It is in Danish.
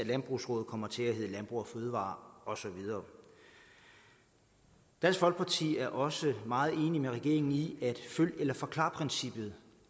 landbrugsraadet kommer til at hedde landbrug fødevarer og så videre dansk folkeparti er også meget enig med regeringen i at følg eller forklar princippet